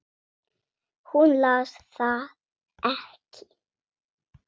Hún las það ekki.